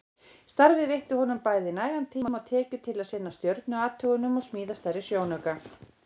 Starfið veitti honum nægan tíma og tekjur til að sinna stjörnuathugunum og smíða stærri sjónauka.